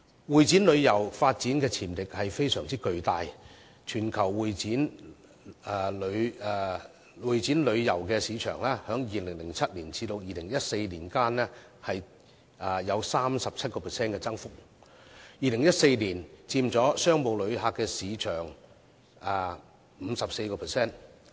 會展旅遊的發展潛力非常巨大，全球會展旅遊市場在2007年至2014年間的增幅達 37%， 而2014年佔商務旅遊的市場份額 54%。